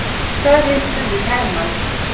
Þar hittum við hermann.